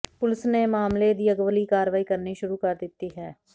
police ਨੇ ਮਾਮਲੇ ਦੀ ਅਗਲੀ ਕਾਰਵਾਈ ਕਰਨੀ ਸ਼ੁਰੂ ਕਰ ਦਿੱਤੀ ਹੈ